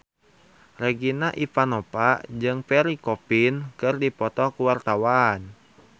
Regina Ivanova jeung Pierre Coffin keur dipoto ku wartawan